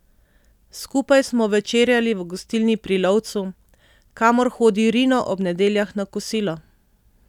Skupaj smo večerjali v gostilni Pri lovcu, kamor hodi Rino ob nedeljah na kosilo.